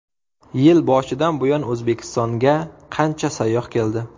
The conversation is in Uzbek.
Yil boshidan buyon O‘zbekistonga qancha sayyoh keldi?.